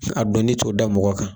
A dɔnni t'o da mɔgɔ kan.